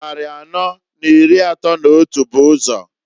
Nnari anọọ n'iri atọọ n'otu bu ụzọ.